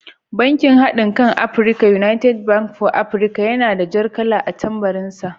Bankin haɗinkan Afirika (United Bank for Africa) yana da jar kala a tambarin sa.